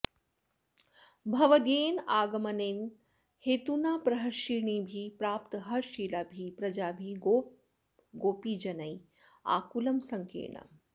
भवदीयेन आगमनेन हेतुना प्रहर्षिणीभिः प्राप्तहर्षशीलाभिः प्रजाभिः गोपगोपीजनैः आकुलं सङ्कीर्णम्